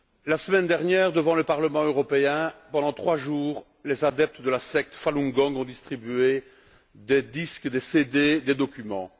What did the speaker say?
La semaine dernière, devant le Parlement européen, pendant trois jours, les adeptes de la secte Falun Gong ont distribué des disques, des CD, des documents.